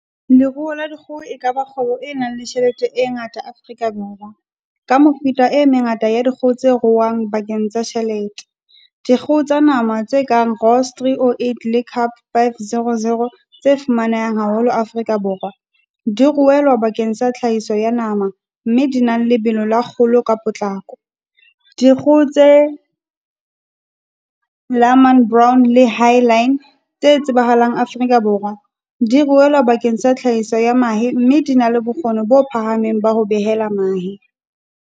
Leruo la dikgoho e ka ba kgwebo e nang le tjhelete e ngata Afrika Borwa. Ka mefuta e mengata ya dikgoho tse ruuwang bakeng tsa tjhelete. Dikgoho tsa nama tse kang rolls three o eight le cab five zero zero tse fumanehang haholo Afrika Borwa, di ruelwa bakeng sa tlhahiso ya nama mme di na le lebelo la kgolo ka potlako, dikgoho tse lohman brown le highline tse tsebahalang Afrika Borwa. Di ruelwa bakeng sa tlhahiso ya mahe, mme di na le bokgoni bo phahameng ba ho behela mahe.